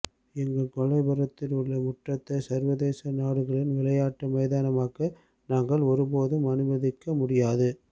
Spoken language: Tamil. எங்கள் கொல்லைப் புறத்திலுள்ள முற்றத்தை சர்வதேச நாடுகளின் விளையாட்டு மைதானமாக்க நாங்கள் ஒருபோதும் அனுமதிக்க முடியாது